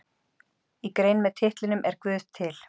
Í grein með titlinum Er guð til?